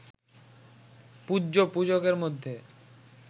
পূজ্য, পূজকের মধ্যে